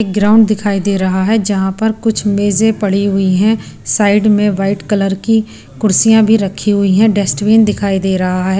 Ground दिखाई दे रहा है जहां पर कुछ मेजें पड़ी हुई हैं साइड में वाइट कलर की कुर्सियां भी रखी हुई है डेस्टवीन दिखाई दे रहा है।